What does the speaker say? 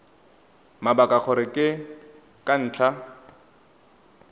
mabaka gore ke ka ntlha